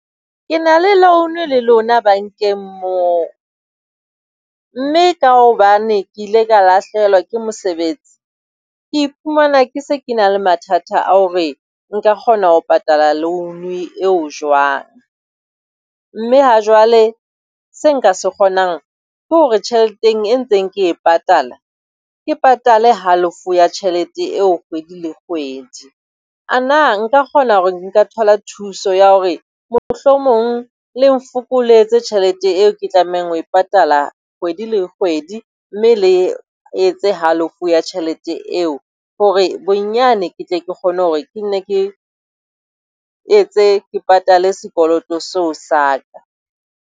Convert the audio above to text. Ke na le loan le lona bankeng moo, mme ka hobane ke ile ka lahlehelwa ke mosebetsi ke iphumana ke se ke na le mathatha a hore nka kgona ho patala loan eo jwang. Mme ha jwale seo nka se kgonang ke hore tjhelete e ntseng ke e patala ke patale halofo ya tjhelete eo kgwedi le kgwedi. A na nka kgona hore nka thola thuso ya hore mohlomong le nfokoletse tjhelete eo ke tlamehang ho e patala kgwedi le kgwedi, mme le etse halofo ya tjhelete eo? Hore bonyane ke tle ke kgone hore ke nne ke etse ke patale sekoloto seo sa ka.